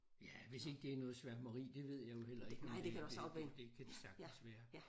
Ja hvis ikke det er noget sværmeri det ved jeg jo heller ikke men det det det det kan det sagtens være